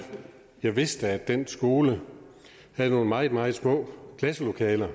jeg vidste at den skole havde nogle meget meget små klasselokaler og